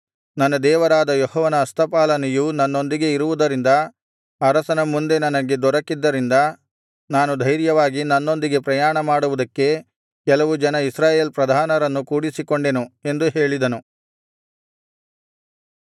ನನ್ನ ದೇವರಾದ ಯೆಹೋವನ ಹಸ್ತಪಾಲನೆಯು ನನ್ನೊಂದಿಗೆ ಇರುವುದರಿಂದ ಅರಸನ ಮುಂದೆ ನನಗೆ ದೊರಕ್ಕಿದ್ದರಿಂದ ನಾನು ಧೈರ್ಯವಾಗಿ ನನ್ನೊಂದಿಗೆ ಪ್ರಯಾಣ ಮಾಡುವುದಕ್ಕೆ ಕೆಲವು ಜನ ಇಸ್ರಾಯೇಲ್ ಪ್ರಧಾನರನ್ನು ಕೂಡಿಸಿಕೊಂಡೆನು ಎಂದು ಹೇಳಿದನು